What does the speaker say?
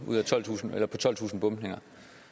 ud af tolvtusind bombninger